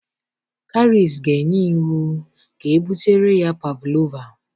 Karice ga enye iwu ka ebutere ya pavlova